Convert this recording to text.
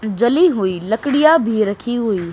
जली हुई लकड़ियां भी रखी हुई।